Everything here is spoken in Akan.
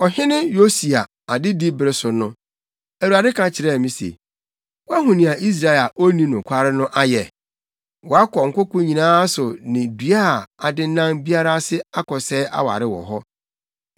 Ɔhene Yosia adedi bere so no, Awurade ka kyerɛɛ me se, “Woahu nea Israel a onni nokware no ayɛ? Wakɔ nkoko nyinaa so ne dua a adennan biara ase akɔsɛe aware wɔ hɔ.